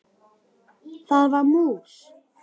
Það var mús!